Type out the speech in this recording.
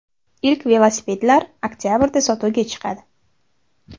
Ilk velosipedlar oktabrda sotuvga chiqadi.